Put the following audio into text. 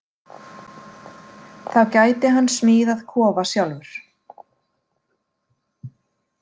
Þá gæti hann smíðað kofa sjálfur.